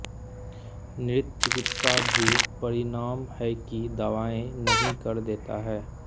नृत्य चिकित्सा भी परिणाम है कि दवाएँ नहीं कर देता है